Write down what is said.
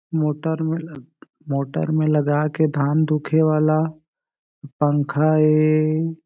motor में motor में लगा के धान धुके वाला पंखा ए--